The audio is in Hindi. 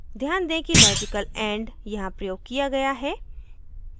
ध्यान दें कि logical and यहाँ प्रयोग किया गया है